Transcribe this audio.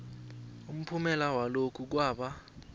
umphumela walokhu kwaba